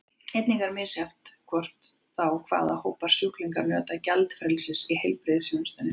Einnig er misjafnt hvort og þá hvaða hópar sjúklinga njóta gjaldfrelsis í heilbrigðisþjónustunni.